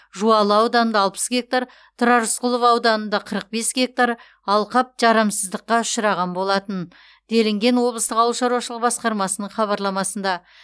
жуалы ауданында алпыс гектар тұрар рысқұлов ауданында қырық бес гектар алқап жарамсыздыққа ұшыраған болатын делінген облыстық ауыл шаруашылық басқармасының хабарламасында